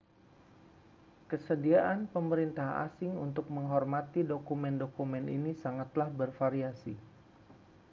kesediaan pemerintah asing untuk menghormati dokumen-dokumen ini sangatlah bervariasi